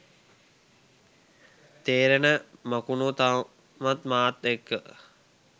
තේරෙන මකුණො තවමත් මාත් එක්ක